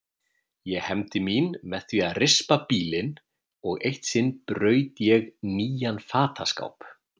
Ég hefndi mín með því að rispa bílinn og eitt sinn braut ég nýjan fataskáp.